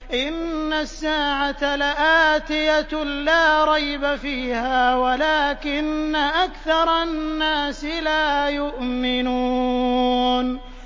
إِنَّ السَّاعَةَ لَآتِيَةٌ لَّا رَيْبَ فِيهَا وَلَٰكِنَّ أَكْثَرَ النَّاسِ لَا يُؤْمِنُونَ